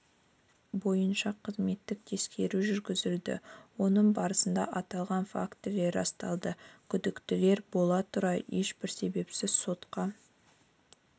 бойынша қызметтік тексеру жүргізілді оның барысында аталған фактілер расталды күдіктілер бола тұра ешбір себепсіз сотқа